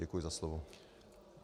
Děkuji za slovo.